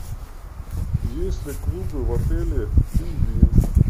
есть ли клубы в отеле пингвин